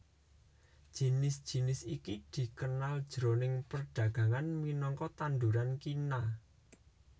Jinis jinis iki dikenal jroning perdagangan minangka tanduran kina